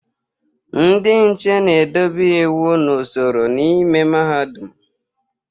Ndị nche na-edobe iwu na usoro n'ime Mahadum.